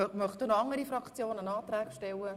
Möchte noch eine andere Fraktion einen Antrag stellen?